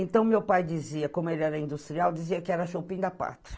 Então, meu pai dizia, como ele era industrial, dizia que era da pátria.